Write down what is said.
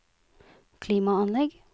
klimaanlegg